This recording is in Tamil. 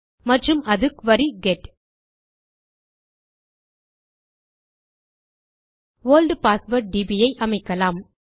மற்றும் அது query get old password DB ஐ அமைக்கலாம்